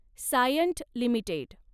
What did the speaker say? Cyient limited